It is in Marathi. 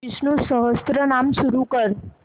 विष्णु सहस्त्रनाम सुरू कर